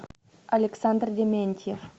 александр дементьев